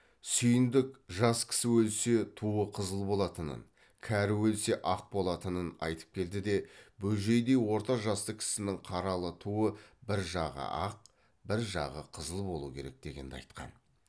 сүйіндік жас кісі өлсе туы қызыл болатынын кәрі өлсе ақ болатынын айтып келді де бөжейдей орта жасты кісінің қаралы туы бір жағы ақ бір жағы қызыл болу керек дегенді айтқан